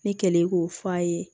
Ne kɛlen k'o f'a ye